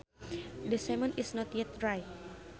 The cement is not yet dry